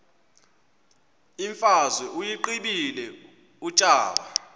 imfazwe uyiqibile utshaba